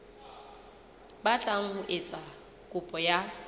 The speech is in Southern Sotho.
batlang ho etsa kopo ya